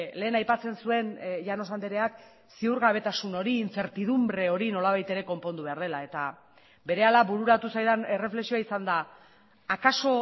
lehen aipatzen zuen llanos andreak ziurgabetasun hori incertidumbre hori nolabait ere konpondu behar dela eta berehala bururatu zaidan erreflexioa izan da akaso